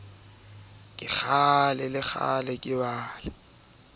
o halefiswa le ke dinthwana